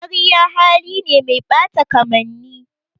Ƙarya hali ne mai ɓata kamanni.